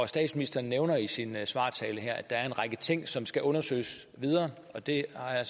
statsministeren nævner i sin svartale her at der er en række ting som skal undersøges yderligere og det har